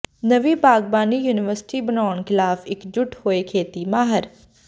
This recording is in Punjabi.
ਨਵੀਂ ਬਾਗਬਾਨੀ ਯੂਨੀਵਰਸਿਟੀ ਬਣਾਉਣ ਖ਼ਿਲਾਫ਼ ਇਕਜੁੱਟ ਹੋਏ ਖੇਤੀ ਮਾਹਿਰ